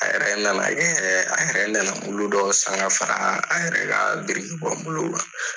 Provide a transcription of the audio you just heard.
A yɛrɛ nana kɛ a yɛrɛ nana dɔw san ka fara a yɛrɛ ka birikibɔ kan.